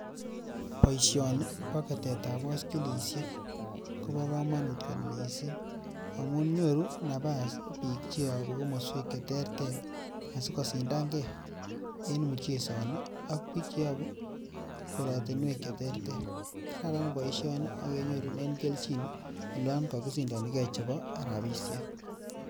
Boishoni boo Ketetab boskilishek kobokomonut kot mising amuun nyoru nabaas biik cheyobu komoswek cheterter asii kosindang'e en muchesoni ak biik cheyobu korotinwek cheterter, karan boishoni ak kenyorunen kelchin olon kokisindonikee chebo rabishek.